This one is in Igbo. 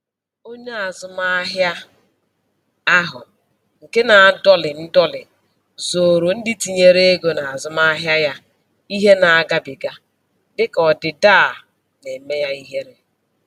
Onye azụmahịa ahụ nke na-adọlị ndọlị zooro ndị tinyere ego n'azụmahịa ya ihe na-agabiga, dịka ọdịda a na-eme ya ihere.